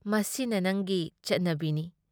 ꯃꯁꯤꯅ ꯅꯪꯒꯤ ꯆꯠꯅꯕꯤꯅꯤ ꯫